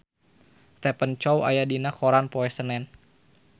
Stephen Chow aya dina koran poe Senen